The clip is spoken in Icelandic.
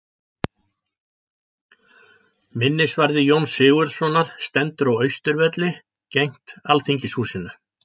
Minnisvarði Jóns Sigurðssonar stendur á Austurvelli, gegnt Alþingishúsinu.